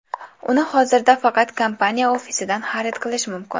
Uni hozirda faqat kompaniya ofisidan xarid qilish mumkin.